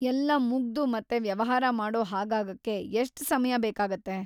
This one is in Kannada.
ಎಲ್ಲಾ ಮುಗ್ದು‌ ಮತ್ತೆ ವ್ಯವಹಾರ ಮಾಡೋ ಹಾಗಾಗಕ್ಕೆ ಎಷ್ಟ್‌ ಸಮಯ ಬೇಕಾಗತ್ತೆ?